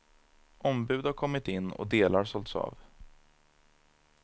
Ombud har kommit in och delar sålts av.